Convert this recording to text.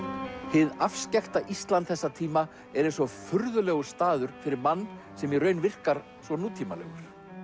hið afskekkta Ísland þessa tíma er eins og furðulegur staður fyrir mann sem í raun virkar svo nútímalegur